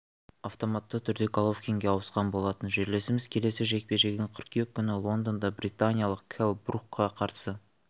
автоматты түрде головкинге ауысқан болатын жерлесіміз келесі жекпе-жегін қыркүйек күні лондонда британиялық келл брукқа қарсы